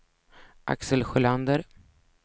Axel Sjölander